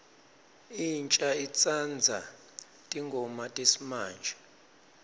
insha itsandza tingoma tesimamje